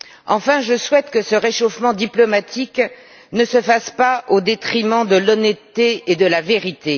Enfin, je souhaite que ce réchauffement diplomatique ne se fasse pas au détriment de l'honnêteté et de la vérité.